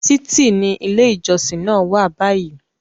Títì ni ilé ìjọsìn náà wà báyìí.